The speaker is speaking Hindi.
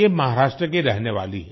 ये महाराष्ट्र की रहने वाली हैं